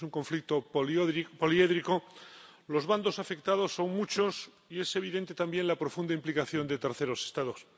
Es un conflicto poliédrico, los bandos afectados son muchos y es evidente también la profunda implicación de terceros Estados.